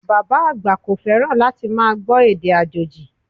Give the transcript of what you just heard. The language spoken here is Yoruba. Bàbá àgbà kò fẹ́ràn láti máa gbọ́ èdè àjòjì